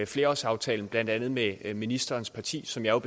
flerårsaftalen blandt andet med ministerens parti som jeg